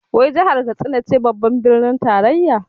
Wai jahar Katsina ce babbar birnin tarayyar?